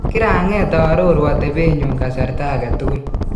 "Kirang'eet aaroruu atebee nyun kasarta agetugul